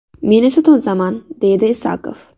Men esa tozaman”, deydi Isakov.